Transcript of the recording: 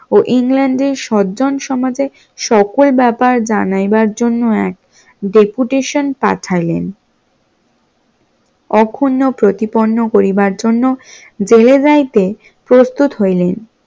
ও ইংল্যান্ডের সজ্জন সমাজে সকল ব্যাপার জানাইবার জন্য এক deputation পাঠাইলেন তখনো প্রতিপন্ন করিবার জন্য জেলে যাইতে প্রস্তুত হইলেন